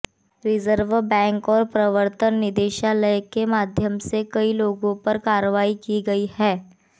reserve bank और प्रवर्तन निदेशालय के माध्यम से कई लोगों पर कार्रवाई की गई है